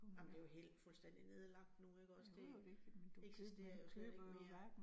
Ej men det jo helt fuldstændig nedlagt nu ikke også, det eksisterer jo slet ikke mere